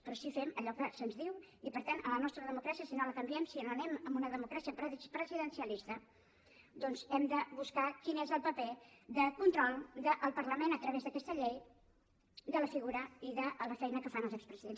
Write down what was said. però sí que fem allò que se’ns diu i per tant a la nostra democràcia si no la canviem si no anem a una democràcia presidencialista doncs hem de buscar quin és el paper de control del parlament a través d’aquesta llei de la figura i de la feina que fan els expresidents